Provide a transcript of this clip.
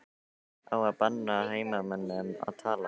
Á að banna heimamönnum að tala?